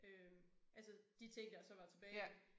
Øh altså de ting der så var tilbage